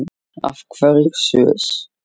Af hverju Sviss?